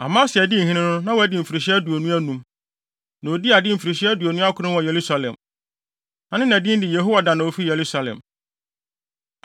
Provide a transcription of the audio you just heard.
Amasia dii hene no, na wadi mfirihyia aduonu anum, na odii ade mfirihyia aduonu akron wɔ Yerusalem. Na ne na din de Yehoadan a ofi Yerusalem.